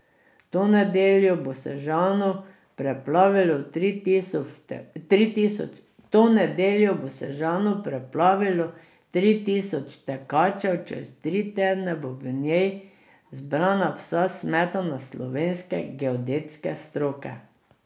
To nedeljo bo Sežano preplavilo tri tisoč tekačev, čez tri tedne bo v njej zbrana vsa smetana slovenske geodetske stroke.